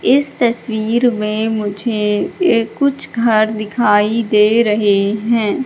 इस तस्वीर में मुझे एक कुछ घर दिखाई दे रहें हैं।